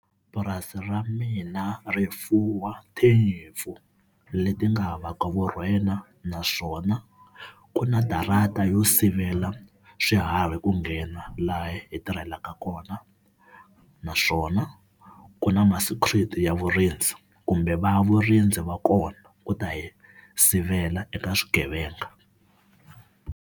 Purasi ra mina ri fuwa tinyimpfu leti nga havaka vurhena naswona ku na darata yo sivela swiharhi ku nghena laha hi tirhelaka kona, naswona ku na ma-security ya vurindzi kumbe va vurindzi va kona ku ta hi sivela eka swigevenga.